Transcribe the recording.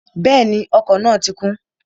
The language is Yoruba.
Bẹ́ẹ̀ni, ọkọ̀ náà ti kún